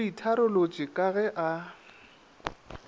o itharolotše ka ge a